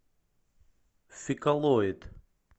фекалоид